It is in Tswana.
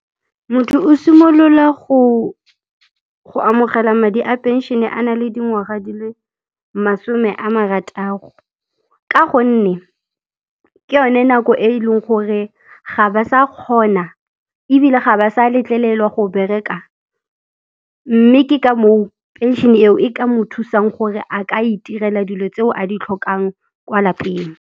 Motho o simolola go amogela madi a phenšene a na le dingwaga di le masome a marataro ka gonne ke yone nako e e leng gore ga ba sa kgona ebile ga ba sa letlelelwa go bereka mme ke ka moo phenšene eo e ka mo thusang gore a ka itirela dilo tseo a di tlhokang kwa lapeng.